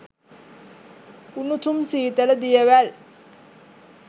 උණුසුම් සීතල දියවැල්